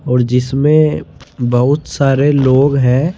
और जिसमें बहुत सारे लोग हैं।